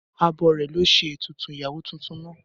Abọrẹ̀ lo ṣe ètùtù ìyàwó tuntun naa.